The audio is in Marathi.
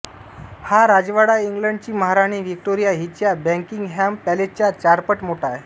हा राजवाडा इंग्लंडची महाराणी व्हिक्टोरिया हिच्या बकिंगहॅम पॅलेसच्या चारपट मोठा आहे